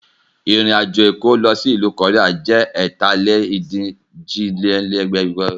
Ìrìn àjò Èkó sì ìlú koría ju ẹ̀ta-lé-ní-ojì dín ní ẹgbẹ́jọ kìlómítà lọ